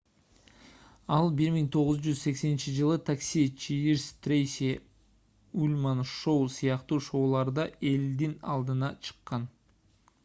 ал 1980-ж такси чиирс трейси ульман шоу сыяктуу шоуларда элдин алдына чыккан